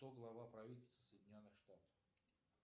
кто глава правительства соединенных штатов